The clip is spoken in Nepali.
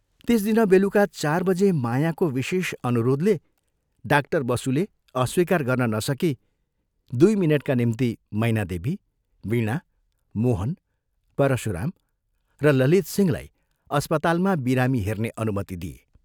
त्यस दिन बेलुका चार बजे मायाको विशेष अनुरोधले डाक्टर बसुले अस्वीकार गर्न नसकी, दुइ मिनटका निम्ति मैनादेवी, वीणा, मोहन, परशुराम र ललितसिंहलाई अस्पतालमा बिरामी हेर्ने अनुमति दिए।